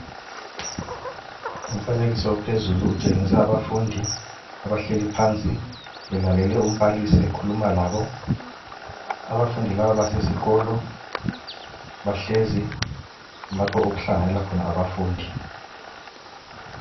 Umfanekiso ophezulu utshengisa afundi abahleli phansi belalele umbalisi ukhuluma labo. Abafundi laba abasesikolo, bahlezi, lapho okuhlanyela khona abafundi.